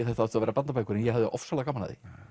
þetta ættu að vera barnabækur en ég hafði ofsalega gaman af því